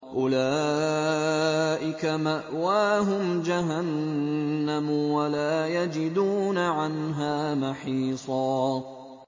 أُولَٰئِكَ مَأْوَاهُمْ جَهَنَّمُ وَلَا يَجِدُونَ عَنْهَا مَحِيصًا